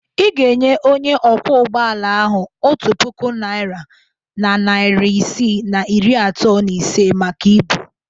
Ị ga-enye onye ọkwọ ụgbọala ahụ otu puku naira na narị isii na iri atọ na ise maka ibu.